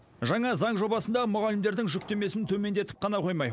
жаңа заң жобасында мұғалімдердің жүктемесін төмендетіп қана қоймай